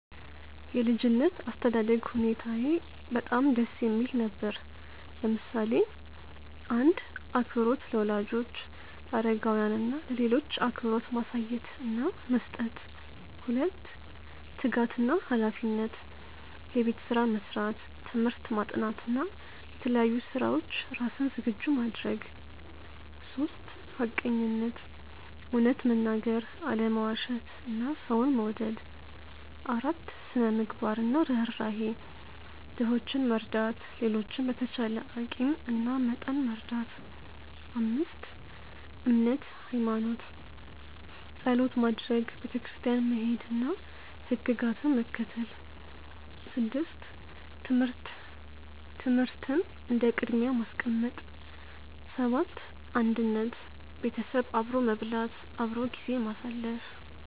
የ ልጅነት አስተዳደግ ሁኔታየ በጣም ደስ የሚል ነበር፣ ለምሳሌ :- 1. አክብሮት - ለወላጆች፣ ለአረጋውያን እና ለሌሎች አክብሮት ማሳየት እና መስጠት 2· ትጋት እና ሃላፊነት - የቤት ስራ መስራት፣ ትምህርት ማጥናት እና ለተለያዩ ስራዎች ራስን ዝግጁ ማድረግ 3· ሐቀኝነት - እውነት መናገር፣ አለመዋሸት እና ሰውን መውደድ 4· ስነ -ምግባር እና ርህራሄ - ድሆችን መርዳት፣ ሌሎችን በተቻለ አቂም እና መጠን መርዳት 5· እምነት (ሃይማኖት) - ጸሎት ማድረግ፣ ቤተክርስቲያን መሄድ እና ሕግጋትን መከተል 6· ትምህርት - ትምህርትን እንደ ቅድሚያ ማስቀመጥ 7· አንድነት - ቤተሰብ አብሮ መብላት፣ አብሮ ጊዜ ማሳለፍ